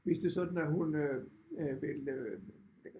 Hvis det er sådan at hun øh vil øh